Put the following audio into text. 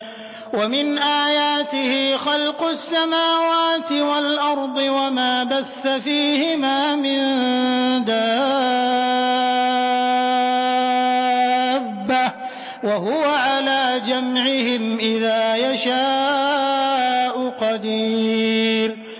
وَمِنْ آيَاتِهِ خَلْقُ السَّمَاوَاتِ وَالْأَرْضِ وَمَا بَثَّ فِيهِمَا مِن دَابَّةٍ ۚ وَهُوَ عَلَىٰ جَمْعِهِمْ إِذَا يَشَاءُ قَدِيرٌ